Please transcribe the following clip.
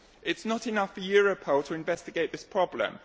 It is not enough for Europol to investigate this problem.